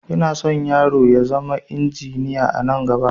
Inason yaro na ya zama injiniya anan gaba